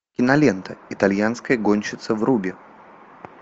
кинолента итальянская гонщица вруби